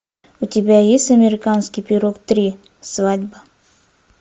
у тебя есть американский пирог три свадьба